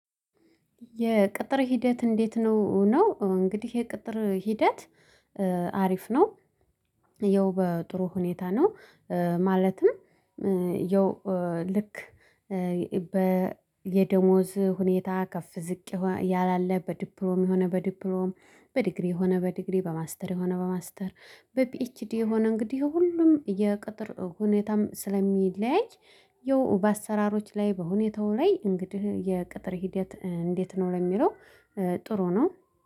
የቅጥር ሂደት እንዴት ነው? እንግዲህ የቅጥር ሂደት አሪፍ ነው። ያው በጥሩ ሁኔታ ነው ማለትም ያው ልክ በ የደሞዝ ሁኔታ ከፍ ዝቅ ያላለ በዲፕሮም የሆነ በዲፕሮም በዲግሪ የሆነ በዲግሪ በማስተር የሆነ በማስተር በፒኤችዲ የሆነ እንግዲህ ሁሉም የቅጥር ሁኔታም ስለሚለያይ ያው በአሰራሮች ላይ በሁኔታው ላይ እንግዲህ የቅጥር ሂደት እንዴት ነው ለሚለው ጥሩ ነው።